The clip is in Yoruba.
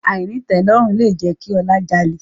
Àìnítẹ̀ẹ́lọ́rùn ló jẹ́ kí Ọlá jalè